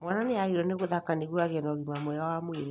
Mwana nĩagĩrĩirwo nĩ gũthaka nĩguo agĩe na ũgima mwega wa mwĩrĩ